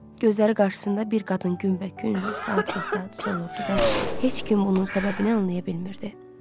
Gözləri qarşısında bir qadın günbəgün, saatbasaat solurdu və heç kim onun səbəbini anlaya bilmirdi.